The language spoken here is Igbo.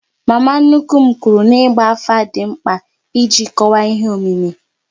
Mama nnukwu m kwụrụ n'igba afa dị mkpa iji kọwaa ihe omimi